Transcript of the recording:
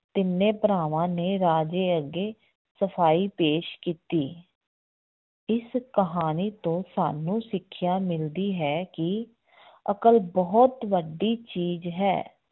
ਤਿੰਨੇ ਭਰਾਵਾਂ ਨੇ ਰਾਜੇ ਅੱਗੇ ਸਫ਼ਾਈ ਪੇਸ਼ ਕੀਤੀ ਇਸ ਕਹਾਣੀ ਤੋਂ ਸਾਨੂੰ ਸਿੱਖਿਆ ਮਿਲਦੀ ਹੈ ਕਿ ਅਕਲ ਬਹੁਤ ਵੱਡੀ ਚੀਜ਼ ਹੈ।